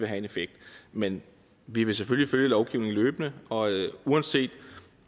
have en effekt men vi vil selvfølgelig følge lovgivningen løbende og uanset